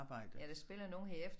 Ja der spiller nogle her i efter